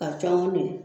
Ka caman don